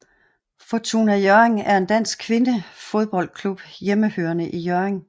Fortuna Hjørring er en dansk kvindefodboldklub hjemmehørende i Hjørring